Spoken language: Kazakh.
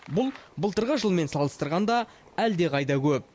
бұл былтырғы жылмен салыстырғанда әлдеқайда көп